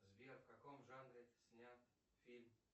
сбер в каком жанре снят фильм